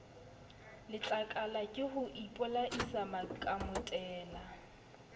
letlakala ke ho ipolaisa makamotela